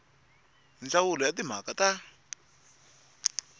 hi ndzawulo ya timhaka ta